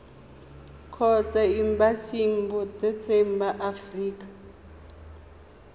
kgotsa embasing botseteng ba aforika